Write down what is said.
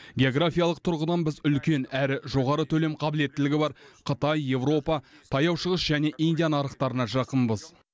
географиялық тұрғыдан біз үлкен әрі жоғары төлем қабілеттілігі бар қытай еуропа таяу шығыс және индия нарықтарына жақынбыз